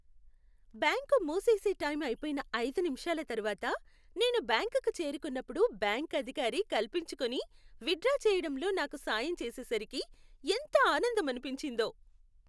Bank మూసేసే time అయిపోయిన ఐదు నిమిషాల తర్వాత నేను బ్యాంకుకు చేరుకున్నప్పుడు బ్యాంకు అధికారి కల్పించుకొని విత్డ్రా చేయడంలో నాకు సాయం చేసేసరికి ఎంత ఆనందమనిపించిందో.